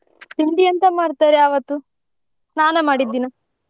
ತಿಂಡಿ ಎಂತ ಮಾಡ್ತಾರೆ ಆವತ್ತು ಸ್ನಾನ ದಿನ?